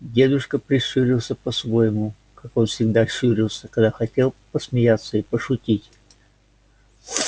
дедушка прищурился по-своему как он всегда щурился когда хотел посмеяться и пошутить